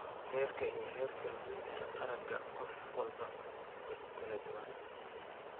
Heerka iyo heerka luminta aragga qof walba way ku kala duwan yihiin.